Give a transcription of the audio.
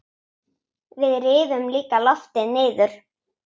Við rifum líka loftið niður.